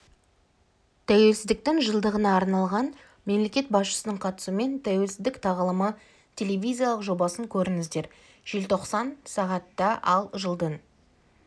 тәуелсіздіктің жылдығына арнлаған мемлекет басшысының қатысуымен тәуелсіздік тағылымы телевизиялық жобасын көріңіздер желтоқсан сағат та ал жылдың